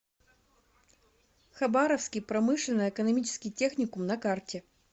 хабаровский промышленно экономический техникум на карте